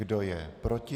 Kdo je proti?